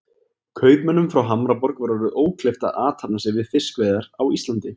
Kaupmönnum frá Hamborg var orðið ókleift að athafna sig við fiskveiðar á Íslandi.